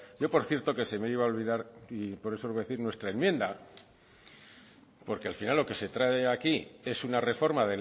yo por cierto que se me iba a olvidar y por eso lo voy a decir nuestra enmienda porque al final lo que se trae aquí es una reforma